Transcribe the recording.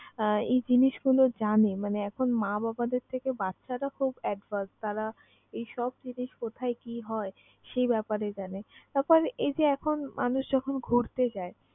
আহ এই জিনিসগুলো জানে মানে এখন মা-বাবাদের থেকে বাচ্চারা খুব advance । তারা এইসব জিনিস কোথায় কি হয় সেই ব্যাপারে জানে। তারপর এই যে এখন মানুষ যখন ঘুরতে যায়